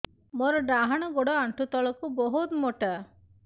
ମୋର ଡାହାଣ ଗୋଡ ଆଣ୍ଠୁ ତଳୁକୁ ବହୁତ ମୋଟା